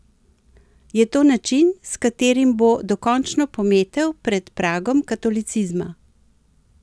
Je to način, s katerim bo dokončno pometel pred pragom katolicizma?